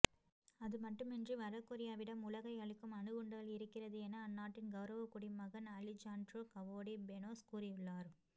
அதுமட்டுமின்றி வடகொரியாவிடம் உலகை அழிக்கும் அணுகுண்டுகள் இருக்கிறது என அந்நாட்டின் கௌரவ குடிமகன் அலிஜாண்ட்ரோ கவோடி பெனோஸ் கூறியுள்ளார்